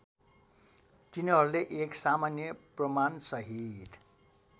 तिनीहरूले एक सामान्य प्रमाणसहित